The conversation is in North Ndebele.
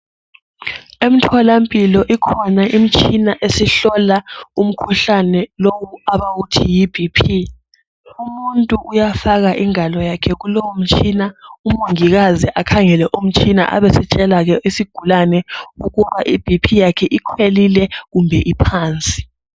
Emtholampilo ikhona imtshina esihlola umkhuhlane lowu abawuthi Yi BP , umuntu kuyafaka ingalo yakhe kulowomtshina umongikazi akhangele umtshina abe setshele ke isigulane ukuba I BP yakhe ikhwelile kumbe iphansi